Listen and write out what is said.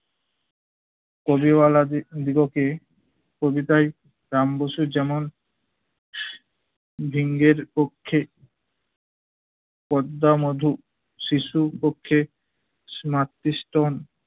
কবিওয়ালা দিগ্~ দিগকে কবিতায় রাম বসুর যেমন ভিঙের পক্ষে পদ্মা মধু, শিশু পক্ষে